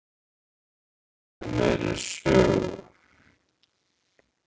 Við viljum meiri sögu.